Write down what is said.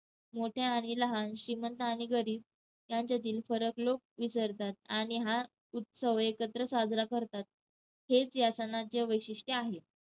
मोठ्या आणि लहान, श्रीमंत आणि गरीब यांच्यातील फरक लोक विसरतात आणि हा उत्सव एकत्र साजरा करतात. हेच या सणाचे वैशिष्ट्य आहे.